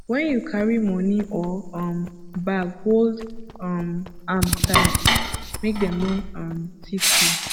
when you carry money or um bag hold um am tight make dem no um thief you